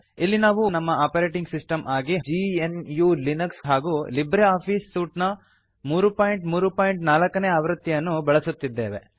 ಇಲ್ಲಿ ನಾವು ನಮ್ಮ ಆಪರೇಟಿಂಗ್ ಸಿಸ್ಟಮ್ ಆಗಿ ಜಿಎನ್ಯು ಲಿನಕ್ಸ್ ಹಾಗೂ ಲಿಬ್ರೆ ಆಫೀಸ್ ಸೂಟ್ ನ 334 ನೇ ಆವೃತ್ತಿಯನ್ನು ಬಳಸುತ್ತಿದ್ದೇವೆ